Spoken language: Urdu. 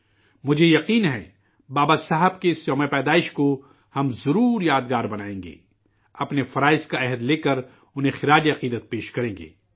مجھے یقین ہے، بابا صاحب کی اس یوم پیدائش کو ہم ضرور یادگار بنائیں گے، اپنے فرائض عہد لے کر انہیں خراج عقیدت پیش کریں گے